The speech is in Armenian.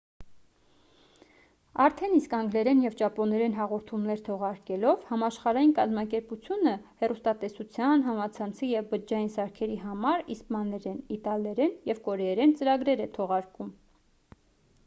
արդեն իսկ անգլերեն և ճապոներեն հաղորդումներ թողարկելով համաշխարհային կազմակերպությունը հեռուստատեսության համացանցի և բջջային սարքերի համար իսպաներեն իտալերեն և կորեերեն ծրագրեր է թողարկում